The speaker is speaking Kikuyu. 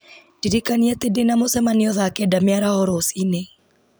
ndirikania atĩ ndĩna mũcemanio thaa kenda mĩaraho rũciũ